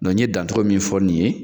n ye dancogo min fɔ nin ye